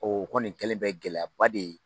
O kɔni kɛlen bɛ gɛlɛya ba de ye.